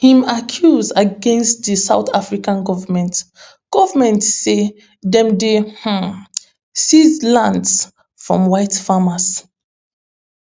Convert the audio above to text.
im accuse against di south africa goment goment say dem dey um seize lands from white farmers